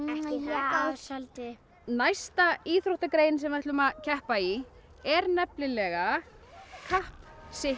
já soldið næsta íþróttagrein sem við ætlum að keppa í er nefnilega kapp